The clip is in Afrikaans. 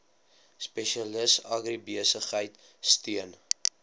spesialis agribesigheid steun